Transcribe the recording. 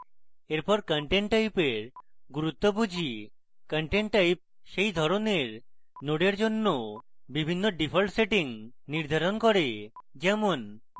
এরপর content type এর গুরুত্ব বুঝি content type সেই ধরনের নোডের জন্য বিভিন্ন ডিফল্ট সেটিংস নির্ধারণ করে যেমন